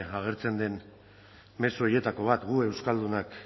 agertzen den mezu horietako bat gu euskaldunak